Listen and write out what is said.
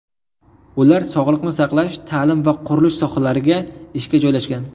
Ular sog‘liqni saqlash, ta’lim va qurilish sohalariga ishga joylashgan.